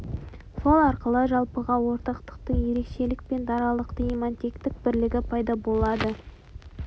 сол арқылы жалпыға ортақтықтың ерекшелік пен даралықтың имманенттік бірлігі пайда болады